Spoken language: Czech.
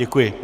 Děkuji.